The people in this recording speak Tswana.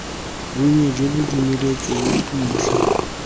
bonnye jo bo dumeletsweng ntlha